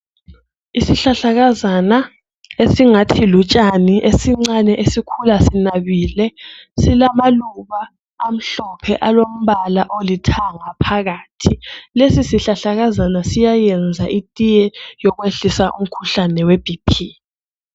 Isihlahlakazana esingathi lutshani Esincane esikhula sinabile silamaluba amhlophe alombala olithanga phakathi lesi sihlahlakazana siyayenza itiye yokwehlisa umkhuhlane webhiphi